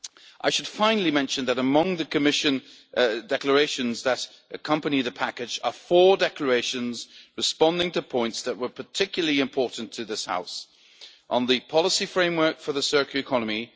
I should finally mention that among the Commission declarations that accompany the package are four declarations responding to points that were particularly important to this House first, on the policy framework for the circular economy